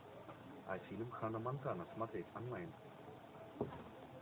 а фильм ханна монтана смотреть онлайн